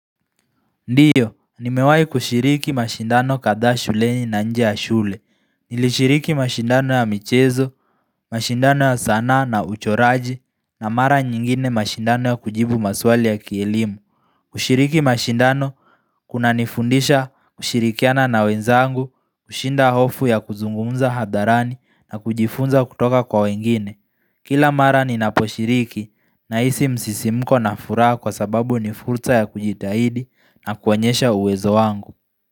Ndiyo, ni mewai kushiriki mashindano katha shuleni na nje ya shule. Nilishiriki mashindano ya michezo, mashindano ya sana na uchoraji, na mara nyingine mashindano ya kujibu maswali ya kielimu. Kushiriki mashindano kuna nifundisha kushirikiana na wenzangu, kushinda hofu ya kuzungumza hadharani na kujifunza kutoka kwa wengine. Kila mara ni naposhiriki naisi msisimko na fura kwa sababu ni furta ya kujitahidi na kuonyesha uwezo wangu.